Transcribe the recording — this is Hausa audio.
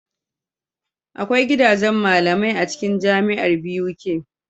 Akwai gidajan malamai acikin jamiar Buk